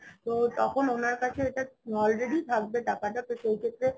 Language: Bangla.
তো তখন ওনার কাছে এটা already থাকবে টাকাটা তো সেই ক্ষেত্রে